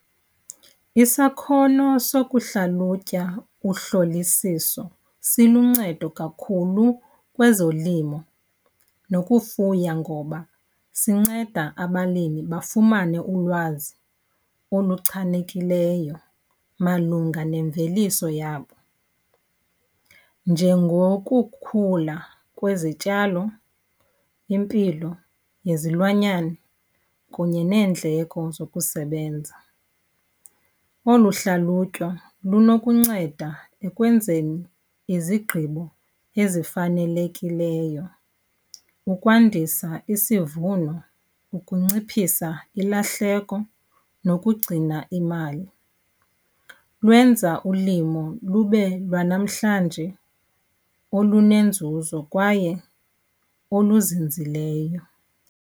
Isakhono sokuhlalutya uhlolisiso siluncedo kakhulu kwezolimo nokufuya, ngoba sinceda abalimi bafumane ulwazi oluchanekileyo malunga nemveliso yabo. Njengokukhula kwezityalo, impilo yezilwanyane kunye neendleko zokusebenza. Olu hlalutywa linokunceda ekwenzeni izigqibo ezifanelekileyo, ukwandisa isivuno, ukunciphisa ilahleko nokugcina imali. Lwenza ulimo lube lwanamhlanje olunenzuzo kwaye oluzinzileyo.